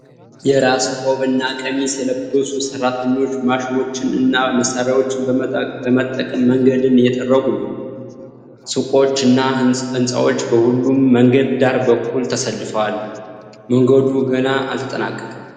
የራስ ቆብ እና ቀሚስ የለበሱ ሰራተኞች ማሽኖችን እና መሳሪያዎችን በመጠቀም መንገድን እየጠገኑ ነው። ሱቆች እና ሕንፃዎች በሁለቱም መንገድ ዳር በኩል ተሰልፈዋል። መንገዱ ገና አልተጠናቀቀም።